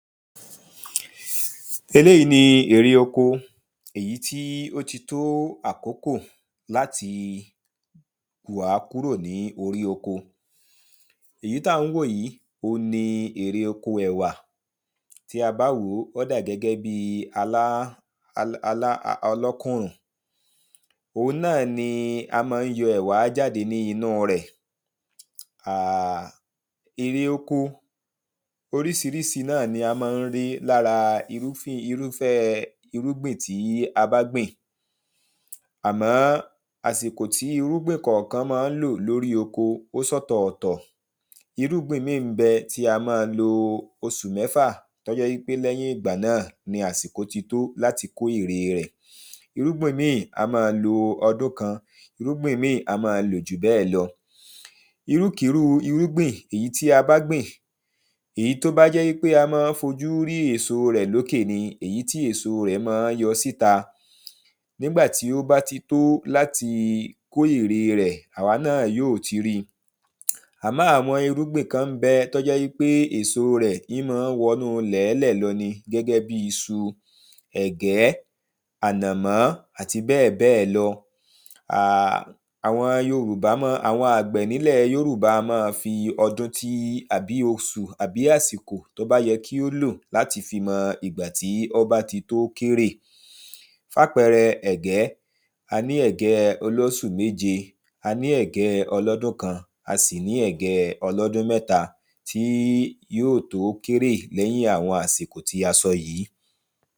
Eléyì ni èrè oko èyí tí o tí tó àkókò láti wà á kúrò ní orí oko Èyí tí a ń wo yìí oun ni èrè oko ẹ̀wà Ti a bá wò ó ó dà gẹ́gẹ́ bíi alá alá ọlọ́kùnrùn Oun náà ni a máa ń yọ ẹ̀wà jáde ní inú rẹ̀ Èrè oko oríṣiríṣi náà ni a máa ń ri lára irúfi irúfẹ́ irúgbìn tí a bá gbìn Àmọ́ àsìkò tí irúgbìn kọ̀ọ̀kan máa ń lò ní orí oko ó ṣe ọ̀tọ̀ọ̀tọ̀ Irúgbìn ìmíì ń bẹ tí a máa lo oṣu mẹ́fà tí ó jẹ́ wípé lèyín ìgbà náà ni àsìkò tí tó láti kó èrè rẹ̀ Irúgbìn míì á máa lo ọdún kan Irúgbìn míì á máa lo jù bẹ́ẹ̀ lọ Irúkíru irúgbìn èyí tí a bá gbìn èyí tí ó bá jẹ́ wípé a máa ń fi ojú rí èso rẹ̀ lókè ni èyí tí èso rẹ̀ máa ń yọ síta Nígbà tí ó ba tí tó láti kó èrè rẹ̀ awa náà yóò tí rí i Àmọ́ àwọn irúgbìn kan ń bẹ̀ tí o jẹ́ wípé èso rẹ̀ í máa ń wọ inú ilẹ̀ńlẹ̀ lọ ni gẹ́gẹ́ bíi iṣu ẹ̀gẹ́ ànànmọ́ àti bẹ́ẹ̀bẹ́ẹ̀ lo Àwọn Yorùbá ma àwọn àgbẹ̀ ní ilẹ̀ Yorùbá a máa fi ọdún tí àbí oṣù àbí àsìkò tí ó bá yẹ kí ó lò láti fi mo ìgbà tí ó bá tí tó kórè Fún àpẹẹrẹ ẹ̀gẹ́ a ní ẹ̀gẹ́ olóṣù méje a ní ẹ̀gẹ́ẹ olọ́dún kan a sì ní ẹ̀gẹ́ẹ olọdún mẹ́ta ti yóò tó kó èrè lẹ́yìn àwọn àsìkò tí a sọ yìí